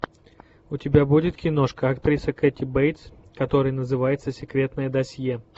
у тебя будет киношка актриса кэти бейтс которая называется секретное досье